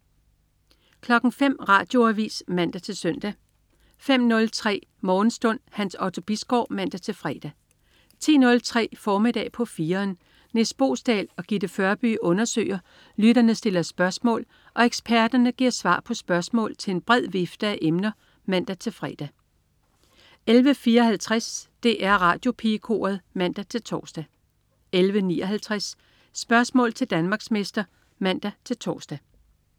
05.00 Radioavis (man-søn) 05.03 Morgenstund. Hans Otto Bisgaard (man-fre) 10.03 Formiddag på 4'eren. Nis Boesdal og Gitte Førby undersøger, lytterne stiller spørgsmål og eksperterne giver svar på spørgsmål til en bred vifte af emner (man-fre) 11.54 DR Radiopigekoret (man-tors) 11.59 Spørgsmål til Danmarksmester (man-tors)